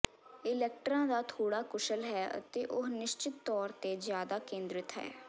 ਇਲੈਕਟਰਾ ਦਾ ਥੋੜ੍ਹਾ ਕੁਸ਼ਲ ਹੈ ਅਤੇ ਉਹ ਨਿਸ਼ਚਿਤ ਤੌਰ ਤੇ ਜ਼ਿਆਦਾ ਕੇਂਦ੍ਰਿਤ ਹੈ